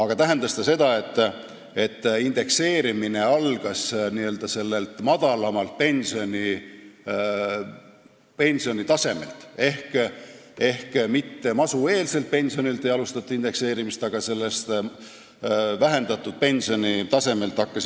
See tähendas, et indekseerimine algas n-ö sellelt madalamalt pensionitasemelt, indekseerimist ei alustatud mitte masueelselt pensionitasemelt, vaid sellelt vähendatud pensionitasemelt.